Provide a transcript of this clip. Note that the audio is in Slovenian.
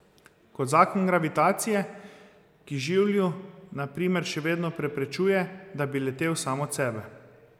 Kot zakon gravitacije, ki življu na primer še vedno preprečuje, da bi letel sam od sebe.